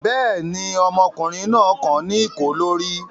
Bẹ́ẹ̀ ni, ọmọkùnrin náà kan ní ìkó lórí.